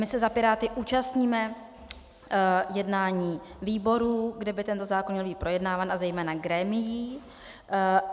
My se za Piráty účastníme jednání výborů, kde by tento zákon měl být projednáván, a zejména grémií.